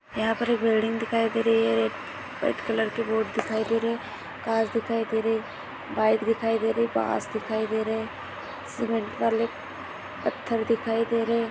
यहा पर एक बिल्डिंग दिखाई दे रही है और एक व्हाइट कलर की बोट दिखाई दे रहे है कार दिखाई दे रहे है बाइक दिखाई दे रही है बास दिखाई दे रहे है सीमेंट वाले पत्थर दिखाई दे रहे है।